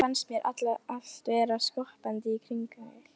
Og þá fannst mér allt vera skoppandi í kringum mig.